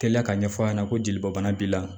Teliya ka ɲɛfɔ a ɲɛna ko jeli bɔ bana b'i la